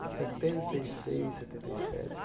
setenta e seis, setenta e sete